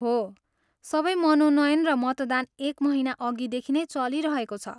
हो, सबै मनोनयन र मतदान एक महिना अघिदेखि नै चलिरहेको छ।